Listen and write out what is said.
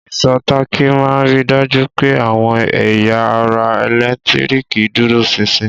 Ìsò táàkì ma n ri dájú pẹ́ àwọn ẹ̀yà ara ẹ̀lẹ́ntíríkì dúró sinsin.